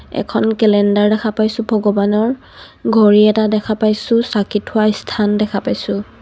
এখন কেলেণ্ডাৰ দেখা পাইছোঁ ভগৱানৰ. ঘড়ী এটা দেখা পাইছোঁ চাকি থোৱা স্থান দেখা পাইছোঁ.